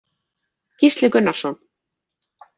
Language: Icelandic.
Gísli Gunnarsson.